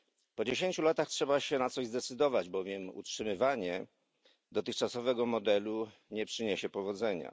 Po dziesięciu latach trzeba się na coś zdecydować, bowiem utrzymywanie dotychczasowego modelu nie przyniesie powodzenia.